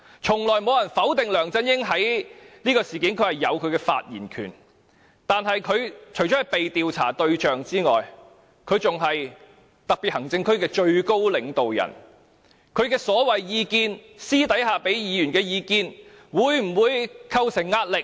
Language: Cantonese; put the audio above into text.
從來沒有人否定梁振英在這事件中有發言權，但他除了是被調查的對象外，更是特別行政區的最高領導人，他私底下給議員所謂意見會否構成壓力？